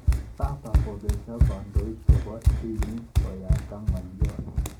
Papa kopeshe kandoik chebo dinit konyabta ngalot.